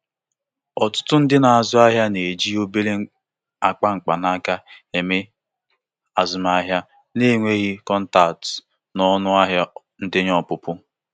Ndị na eji Apple Pay nwere ike inweta akara onyinye site na i jikọta krediti kaadị na akpa ego ekwentị ego ekwentị